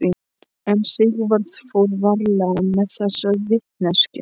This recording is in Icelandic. En Sigvarður fór varlega með þessa vitneskju.